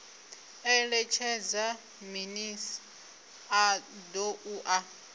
eletshedza minis a doa na